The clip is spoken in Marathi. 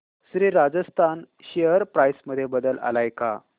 श्री राजस्थान शेअर प्राइस मध्ये बदल आलाय का